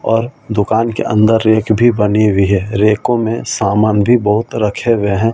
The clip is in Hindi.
और दुकान के अंदर रेक भी बनी हुई है रेकों में सामान भी बहुत रखे हुए हैं और ए।